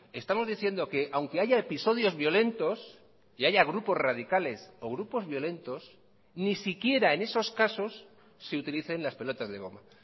estamos diciendo que aunque haya episodios violentos y haya grupos radicales o grupos violentos ni siquiera en esos casos se utilicen las pelotas de goma